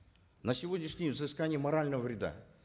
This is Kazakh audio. на сегодняшний день взыскание морального вреда